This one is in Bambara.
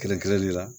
Kɛrɛnkɛrɛnni la